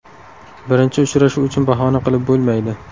Birinchi uchrashuv uchun bahona qilib bo‘lmaydi.